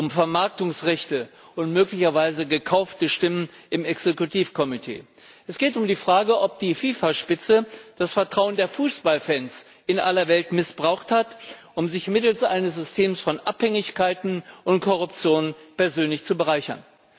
es geht um Vermarktungsrechte und möglicherweise gekaufte Stimmen im Exekutivkomitee. Es geht um die Frage, ob die FIFA Spitze das Vertrauen der Fußballfans in aller Welt missbraucht hat, um sich mittels eines Systems von Abhängigkeiten und Korruption persönlich zu bereichern.